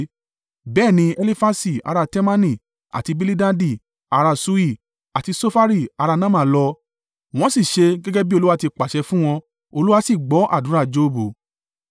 Bẹ́ẹ̀ ní Elifasi, ara Temani, àti Bilidadi, ará Ṣuhi, àti Sofari, ará Naama lọ, wọ́n sì ṣe gẹ́gẹ́ bí Olúwa ti pàṣẹ fún wọn. Olúwa sì gbọ́ àdúrà Jobu.